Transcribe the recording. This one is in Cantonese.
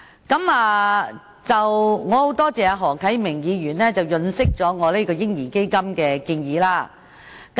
我十分多謝何啟明議員潤飾我提出有關"嬰兒基金"的建議。